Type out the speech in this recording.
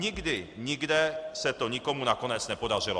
Nikdy nikde se to nikomu nakonec nepodařilo.